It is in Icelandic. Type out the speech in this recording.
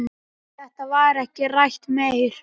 Þetta var ekki rætt meir.